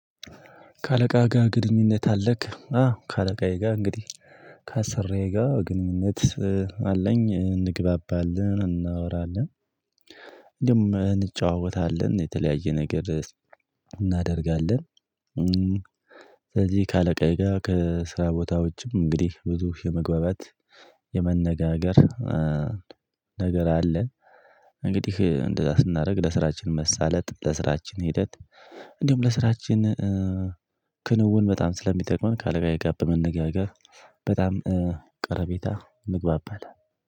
ከአለቃህ ጋር ግንኙነት አለክ? አዎ ከአለቃዬ ጋር እንግዲህ ከአሰሪዬ ጋር ግንኙነት አለኝ እንግባባለን እናወራለን ደግሞ እንጨዋወታለን የተለያየ ነገር እናደርጋለን ስለዚህ ከአለቃዬ ጋር ከስራ ቦታዎችም እንግዲህ ብዙ የመግባባት የመነጋገር ነገር አለ እንግዲህ እንደዛ ስናደርግ ለስራችን መሳለጥ ለስራችን ሂደት እንዲሁም ለስራችን ክንውን በጣም ስለሚጠቅመን ካለቃዬ ጋር በመነጋገር በጣም ቀረቤታ ምግባባታ